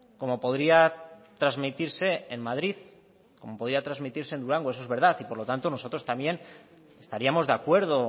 como podría transmitirse en madrid como podría transmitirse en durango eso es verdad y por lo tanto nosotros también estaríamos de acuerdo